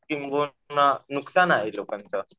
किंबहुना नुकसान आहे लोकांचं.